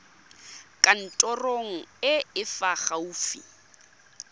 kantorong e e fa gaufi